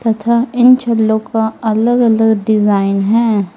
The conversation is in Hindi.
तथा इन छल्लों का अलग अलग डिजाइन है।